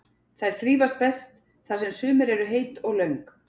Þær þrífast best þar sem sumur eru heit og löng.